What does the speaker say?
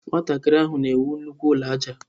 Nwatakịrị ahụ na ewu nnukwu ụlọ aja.